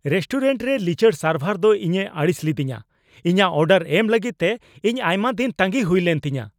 Restaurant ᱨᱮ ᱞᱤᱪᱟᱹᱲ ᱥᱟᱨᱵᱷᱟᱨ ᱫᱚ ᱤᱧᱮ ᱟᱹᱲᱤᱥ ᱞᱤᱫᱤᱧᱟ ᱾ ᱤᱧᱟᱹᱜ ᱚᱰᱟᱨ ᱮᱢ ᱞᱟᱹᱜᱤᱫ ᱛᱮ ᱤᱧ ᱟᱭᱢᱟ ᱫᱤᱱ ᱛᱟᱸᱜᱤ ᱦᱩᱭ ᱞᱮᱱ ᱛᱤᱧᱟᱹ ᱾